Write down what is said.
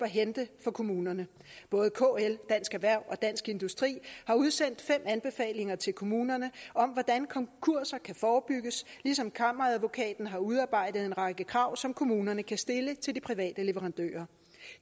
hente for kommunerne kl dansk erhverv og dansk industri har udsendt fem anbefalinger til kommunerne om hvordan konkurser kan forebygges ligesom kammeradvokaten har udarbejdet en række krav som kommunerne kan stille til de private leverandører